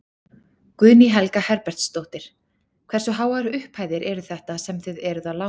Guðný Helga Herbertsdóttir: Hversu háar upphæðir eru þetta sem þið eruð að lána?